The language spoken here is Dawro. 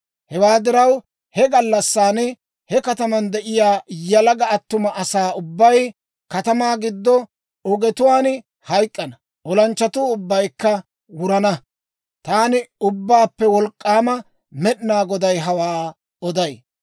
Hewaa diraw, he gallassan he kataman de'iyaa yalaga attuma asaa ubbay katamaa giddo ogetuwaan hayk'k'ana; olanchchatuu ubbaykka wurana. Taani, Ubbaappe Wolk'k'aama Med'inaa Goday hawaa oday.